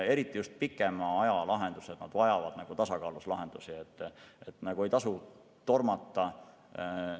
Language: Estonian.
Eriti just pikema aja plaanid vajavad tasakaalus lahendusi, ei tasu tormata.